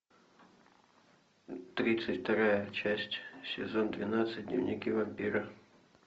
тридцать вторая часть сезон двенадцать дневники вампира